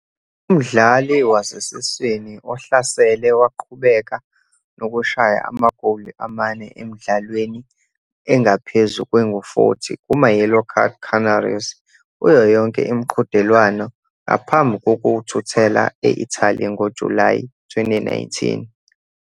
Umdlali wasesiswini ohlasele waqhubeka nokushaya amagoli amane emidlalweni engaphezu kwengu-40 kumaYellow Canaries kuyo yonke imiqhudelwano ngaphambi kokuthuthela e-Italy ngoJulayi 2019.